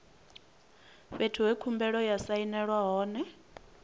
fhethu he khumbelo ya sainelwa hone